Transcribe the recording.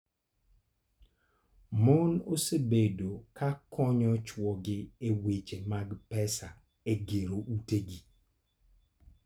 Mon osebedo ka konyo chwogi e weche mag pesa e gero utegi.